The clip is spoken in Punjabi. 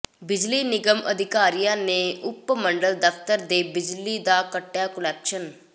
ਬਿਜਲੀ ਨਿਗਮ ਅਧਿਕਾਰੀਆਂ ਨੇ ਉਪ ਮੰਡਲ ਦਫ਼ਤਰ ਦੇ ਬਿਜਲੀ ਦਾ ਕੱਟਿਆ ਕੁਨੈਕਸ਼ਨ